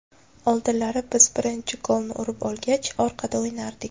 Oldinlari biz birinchi golni urib olgach, orqada o‘ynardik.